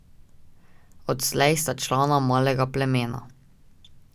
Odslej sta člana malega plemena.